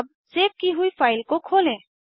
अब सेव की हुई फाइल को खोलें